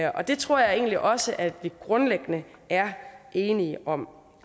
og det tror jeg egentlig også at vi grundlæggende er enige om